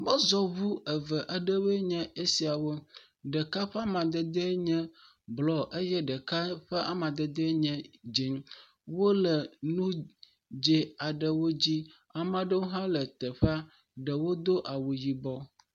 Mɔzɔŋu eve aɖewoe nye esiawo. Ɖeka ƒe mamadedee nye blɔ eye ɖeka ƒe amadede nye dze. Wole nu dzi aɖewo dzi. Amea ɖewo hã le teƒea. Ɖewo do awu yibɔ.